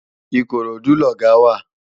Ikorodu lògá wá